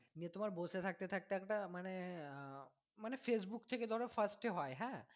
দিয়ে তোমার বসে থাকতে থাকতে একটা মানে আহ মানে facebook থেকে ধরো first এ হয় হ্যাঁ।